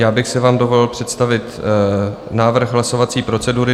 Já bych si vám dovolil představit návrh hlasovací procedury.